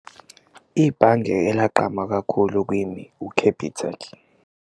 Ibhange elagqama kakhulu kimi u-Capitec.